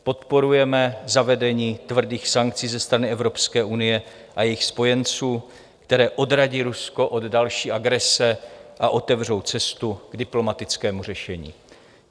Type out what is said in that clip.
Podporujeme zavedení tvrdých sankcí ze strany Evropské unie a jejích spojenců, které odradí Rusko od další agrese a otevřou cestu k diplomatickému řešení.